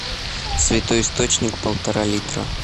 святой источник полтора литра